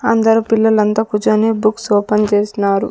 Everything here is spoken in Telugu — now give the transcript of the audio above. అందరు పిల్లలంతా కూర్చొని బుక్స్ ఓపెన్ చేసినారు.